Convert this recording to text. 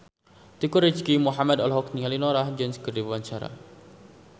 Teuku Rizky Muhammad olohok ningali Norah Jones keur diwawancara